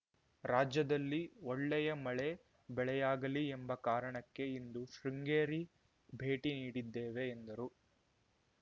ರಾಜ್ಯದಲ್ಲಿ ಒಳ್ಳೆ ಯ ಮಳೆ ಬೆಳೆಯಾಗಲೀ ಎಂಬ ಕಾರಣಕ್ಕೆ ಇಂದು ಶೃಂಗೇರಿ ಭೇಟಿ ನೀಡಿದ್ದೇವೆ ಎಂದರು